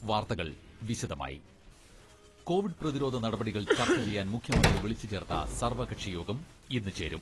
വാർത്തകൾ വിശദമായി കോവിഡ് പ്രതിരോധ നടപടികൾ ചർച്ച ചെയ്യാൻ മുഖ്യമന്ത്രി വിളിച്ചുചേർത്ത സർവ്വകക്ഷി യോഗം ഇന്ന് ചേരും.